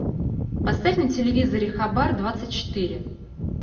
поставь на телевизоре хабар двадцать четыре